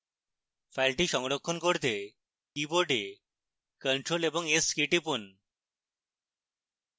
file সংরক্ষণ করতে keyboard ctrl এবং s কী টিপুন